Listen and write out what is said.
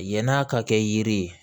Yann'a ka kɛ yiri ye